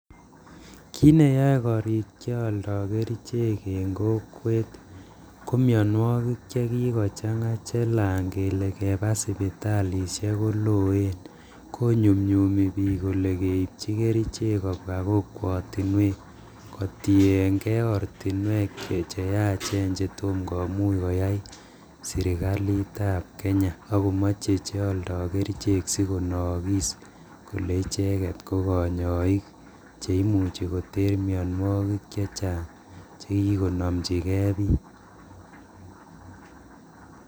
Kiit ne yae korik chealdo kerichek eng kokwet ko mianwogik che kigochang'a chelan kele keba siptalisiek koloen, konyumnyumi biik kole keibchi kerichek kobwa kokwotinwek, kotiengei ortinwek che yaachen chetom komuch koyai serikalitab Kenya, ak komache che aldoi kerichek sikonookiis kole icheket ko kanyoiik che imuchi koteer mianwogik che chang' che kikonamchige biik.